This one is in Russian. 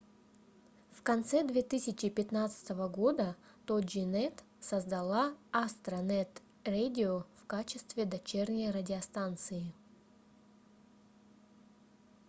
в конце 2015 года toginet создала astronet radio в качестве дочерней радиостанции